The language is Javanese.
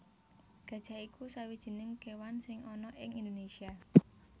Gajah iku sawijining kéwan sing ana ing Indonésia